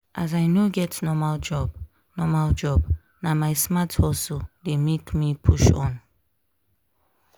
as i no get normal job normal job na my smart hustle dey make me push on.